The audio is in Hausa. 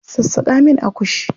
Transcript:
Sassaƙa min akushi.